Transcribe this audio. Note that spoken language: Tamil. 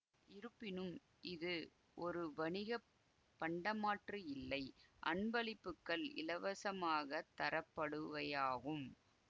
இருப்பினும் இது ஒரு வணிக பண்டமாற்று இல்லை அன்பளிப்புகள் இலவசகமாகத் தரப்படுவையாகும்